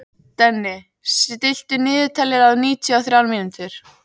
Denni, stilltu niðurteljara á níutíu og þrjár mínútur.